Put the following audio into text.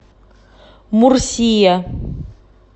мурсия